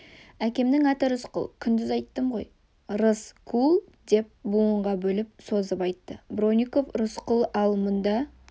әкемнің аты рысқұл күндіз айттым ғой рыс-кул деп буынға бөліп созып айтты бронников рысқұл ал мұнда